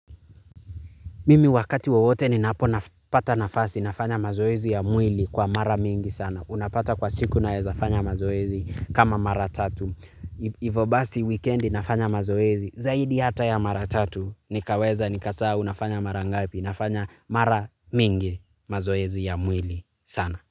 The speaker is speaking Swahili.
Mimi wakati wowote ninapopata nafasi nafanya mazoezi ya mwili kwa mara mingi sana. Unapata kwa siku naweza fanya mazoezi kama mara tatu. Hivyo basi wikendi nafanya mazoezi. Zaidi hata ya mara tatu. Nikaweza, nikasaa, unafanya mara ngapi. Nafanya mara mingi mazoezi ya mwili sana.